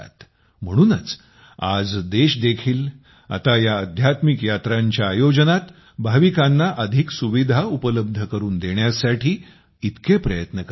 म्हणूनच आज देश देखील आता या अध्यात्मिक यात्रांच्या आयोजनात भाविकांना अधिक सुविधा उपलब्ध करून देण्यासाठी इतके प्रयत्न करत आहे